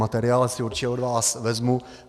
Materiál si určitě od vás vezmu.